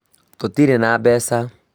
Tũtirĩ na mbeca